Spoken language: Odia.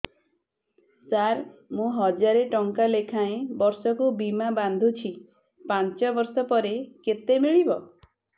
ସାର ମୁଁ ହଜାରେ ଟଂକା ଲେଖାଏଁ ବର୍ଷକୁ ବୀମା ବାଂଧୁଛି ପାଞ୍ଚ ବର୍ଷ ପରେ କେତେ ମିଳିବ